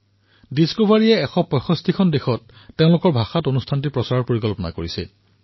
ডিস্কভাৰীয়ে এই কাৰ্যসূচীক ১৬৫খন দেশত তেওঁলোকৰ ভাষাত প্ৰচাৰ কৰা যোজনা প্ৰস্তুত কৰিছে